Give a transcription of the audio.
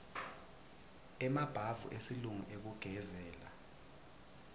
emabhavu esilungu ekugezela